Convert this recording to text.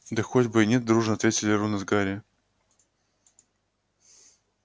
да хоть бы и нет дружно ответили рон с гарри